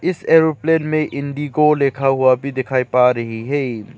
इस एरोप्लेन में इंडिगो लिखा हुआ दिखाई पा रही है।